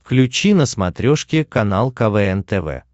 включи на смотрешке канал квн тв